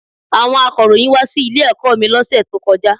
Àwon akọ̀ròyìn wá sí ilé ẹ̀kọ́ mi lọ́sẹ̀ tó kọjá